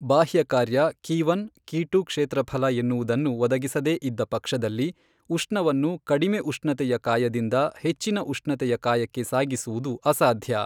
ಬಾಹ್ಯ ಕಾರ್ಯ ಕಿಒನ್, ಕಿಟು ಕ್ಷೇತ್ರಫಲ ಎನ್ನುವುದನ್ನು ಒದಗಿಸದೇ ಇದ್ದ ಪಕ್ಷದಲ್ಲಿ ಉಷ್ಣವನ್ನು ಕಡಿಮೆ ಉಷ್ಣತೆಯ ಕಾಯದಿಂದ ಹೆಚ್ಚಿನ ಉಷ್ಣತೆಯ ಕಾಯಕ್ಕೆ ಸಾಗಿಸುವುದು ಅಸಾಧ್ಯ.